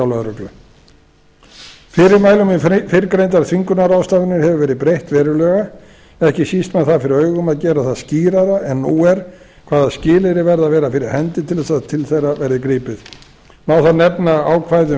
lögreglu fyrirmælum um fyrrgreindar þvingunarráðstafanir hefur verið breytt verulega ekki síst með það fyrir augum að gera það skýrara en nú er hvaða skilyrði verða að vera fyrir hendi til þess að til þeirra verði gripið má þar